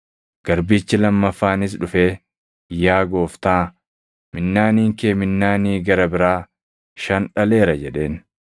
“Garbichi lammaffaanis dhufee, ‘Yaa Gooftaa, minnaaniin kee minnaanii gara biraa shan dhaleera’ jedheen.